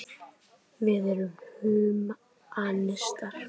Við erum húmanistar.